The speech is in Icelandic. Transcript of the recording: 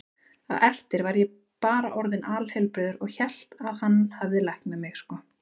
Á eftir var ég bara orðinn alheilbrigður og hélt að hann hefði læknað mig, sko.